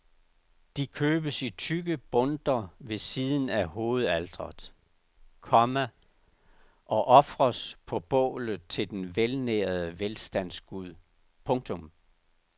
De købes i tykke bundter ved siden af hovedaltret, komma og ofres på bålet til den velnærede velstandsgud. punktum